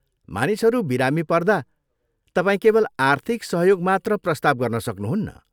मानिसहरू विरामी पर्दा तपाईँ केवल आर्थिक सहयोग मात्र प्रस्ताव गर्न सक्नुहुन्न।